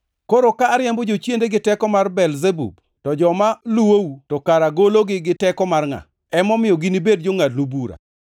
Koro ka ariembo jochiende gi teko mar Belzebub, to joma luwou to kara gologi gi teko mar ngʼa? Emomiyo, ginibed jongʼadnu bura.